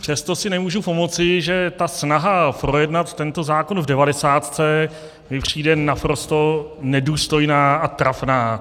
Přesto si nemůžu pomoci, že ta snaha projednat tento zákon v devadesátce mi přijde naprosto nedůstojná a trapná.